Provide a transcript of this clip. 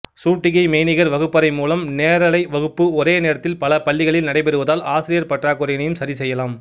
சூட்டிகை மெய்நிகர் வகுப்பறை மூலம் நேரலை வகுப்பு ஒரே நேரத்தில் பல பள்ளிகளில் நடைபெறுவதால் ஆசிரியர் பற்றாக்குறையினையும் சரிசெய்யலாம்